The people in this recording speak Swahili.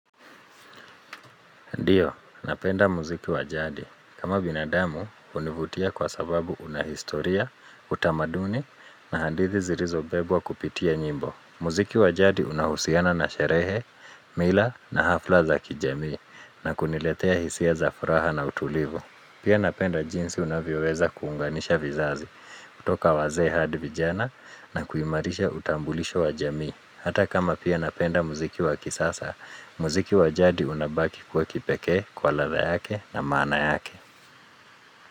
Ndiyo, napenda muziki wajadi. Kama binadamu, hunivutia kwa sababu unahistoria, utamaduni na hadithi zilizo bebwa kupitia nyimbo. Muziki wajadi unahusiana na sherehe, mila na hafla za kijamii na kuniletea hisia za furaha na utulivu. Pia napenda jinsi unavyoweza kuunganisha vizazi, kutoka wazee hadi. Vijana na kuimarisha utambulisho wajamii. Hata kama pia napenda muziki waki sasa, muziki wajadi unabaki kuwa kipekee kwa ladha yake na maana yake.